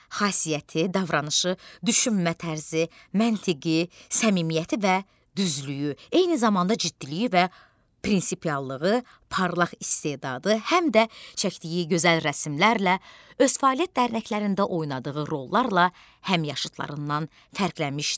Xasiyyəti, davranışı, düşünmə tərzi, məntiqi, səmimiyyəti və düzlüyü, eyni zamanda ciddiliyi və prinsipiallığı, parlaq istedadı, həm də çəkdiyi gözəl rəsmlərlə öz fəaliyyət dərnəklərində oynadığı rollarla həmyaşıdlarından fərqlənmişdi.